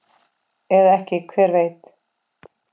Eða ekki, hver veit?